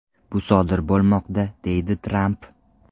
Bu sodir bo‘lmoqda”, deydi Tramp.